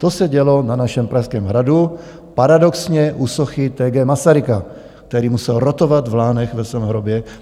To se dělo na našem Pražském hradu, paradoxně u sochy T. G. Masaryka, který musel rotovat v Lánech ve svém hrobě.